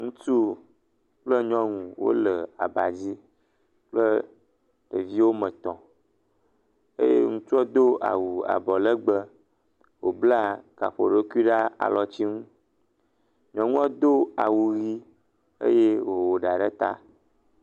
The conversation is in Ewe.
Ŋutsu kple nyɔnu wonɔ anyi ɖe aba dzi, kple ɖeviwo woame etɔ̃, eye ŋutsuɔ do awu abɔlegbe, wòbla gaƒoɖokui ɖe alɔti nu, nyɔnua do awu ʋɛ̃ eye wòwɔ ɖa ɖe ta.